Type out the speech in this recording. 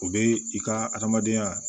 O bɛ i ka adamadenya